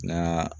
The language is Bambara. Nga